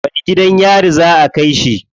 Wani gidan yari za a kai shi?